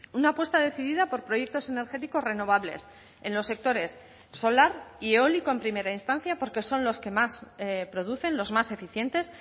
una apuesta decidida por proyectos energéticos renovables en los sectores solar y eólico en primera instancia porque son los que más producen los más eficientes